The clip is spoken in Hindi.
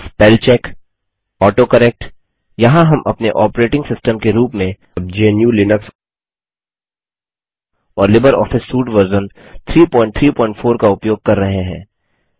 स्पेलचेक वर्तनी की जाँच AutoCorrectस्व सुधार यहाँ हम अपने ऑपरेटिंग सिस्टम के रूप में GNUलिनक्स और लिबर ऑफिस सूट वर्जन 334 का उपयोग कर रहे हैं